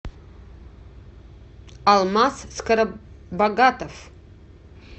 алмаз скоробогатов